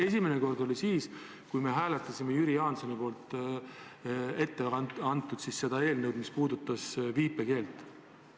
Esimene kord oli siis, kui me hääletasime Jüri Jaansoni eelnõu, mis puudutas viipekeelt.